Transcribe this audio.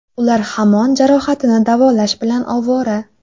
Ular hamon jarohatini davolash bilan ovora.